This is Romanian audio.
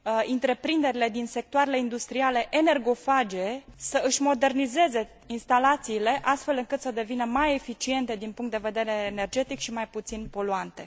întreprinderile din sectoarele industriale energofage să își modernizeze instalațiile astfel încât să devină mai eficiente din punct de vedere energetic și mai puțin poluante